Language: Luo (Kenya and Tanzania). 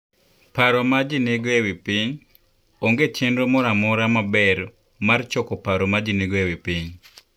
Paro ma Ji Nigo e Wi Piny: Onge chenro moro amora maber mar choko paro ma ji nigo e wi piny.